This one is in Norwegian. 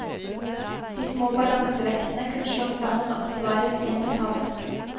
De små balansevektene kunne slås sammen og oppbevares i en metalleske.